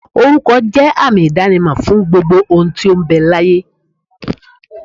Oruko je àmì idanimo fún gbogbo ohun tí ó ń bẹ láyé.